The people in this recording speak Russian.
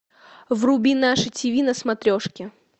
вруби наше тв на смотрешке